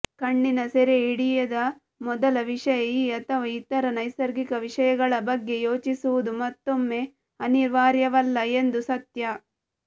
ಕಣ್ಣಿನ ಸೆರೆಹಿಡಿಯದ ಮೊದಲ ವಿಷಯ ಈ ಅಥವಾ ಇತರ ನೈಸರ್ಗಿಕ ವಿಷಯಗಳ ಬಗ್ಗೆ ಯೋಚಿಸುವುದು ಮತ್ತೊಮ್ಮೆ ಅನಿವಾರ್ಯವಲ್ಲ ಎಂದು ಸತ್ಯ